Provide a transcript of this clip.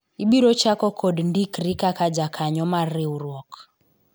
ibiro chako kod ndikri kaka jakanyo mar riwruok